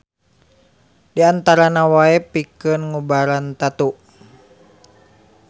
Di antarana wae pikeun ngubaran tatu.